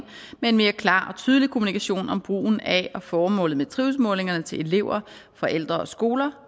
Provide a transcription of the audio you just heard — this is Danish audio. med en mere klar og tydelig kommunikation om brugen af og formålet med trivselsmålingerne til elever forældre og skoler